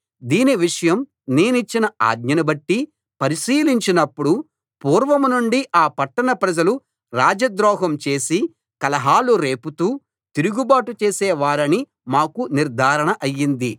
దీని విషయం నేనిచ్చిన ఆజ్ఞను బట్టి పరిశీలించినప్పుడు పూర్వం నుండి ఆ పట్టణ ప్రజలు రాజద్రోహం చేసి కలహాలు రేపుతూ తిరుగుబాటు చేసే వారని మాకు నిర్ధారణ అయింది